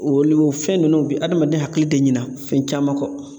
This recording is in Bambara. Olu o fɛn ninnu bi adamaden hakili de ɲina fɛn caman kɔ.